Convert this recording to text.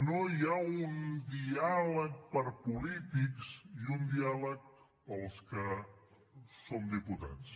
no hi ha un diàleg per polítics i un diàleg pels que som diputats